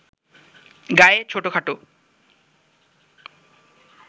গায়ে ছোট-খাট